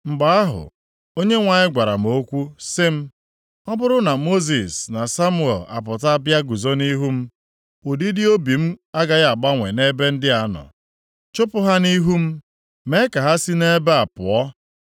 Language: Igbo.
Mgbe ahụ Onyenwe anyị gwara m okwu sị m, “Ọ bụrụ na Mosis na Samuel apụta bịa guzo nʼihu m, ụdịdị obi m agaghị agbanwe nʼebe ndị a nọ. Chụpụ ha nʼihu m. Mee ka ha si nʼebe a pụọ.